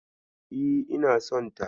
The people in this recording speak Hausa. E, ina sonta.